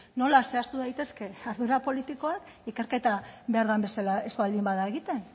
nola zehaztu daitezke ardura politikoak ikerketa behar den bezala ez bada egiten